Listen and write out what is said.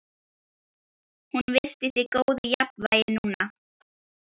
Hún virtist í góðu jafnvægi núna.